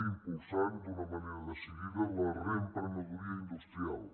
impulsem també d’una manera decidida la reempre·nedoria industrial